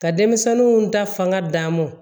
Ka denmisɛnninw ta fanŋaa d'a mɔ